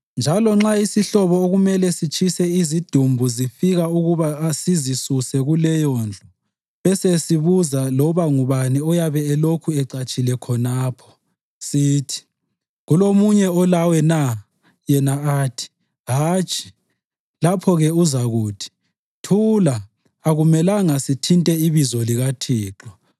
Njalo nxa isihlobo okumele sitshise izidumbu zifika ukuba sizisuse kuleyondlu besesibuza loba ngubani oyabe elokhu ecatshile khonapho, sithi, “Kulomunye olawe na?” Yena athi, “Hatshi,” lapho-ke uzakuthi, “Thula! Akumelanga sithinte ibizo likaThixo.”